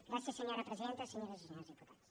gràcies senyora presidenta senyores i senyors diputats